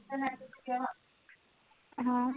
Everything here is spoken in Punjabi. ਹਾਂ